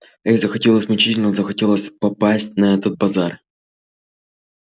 ей захотелось мучительно захотелось попасть на этот базар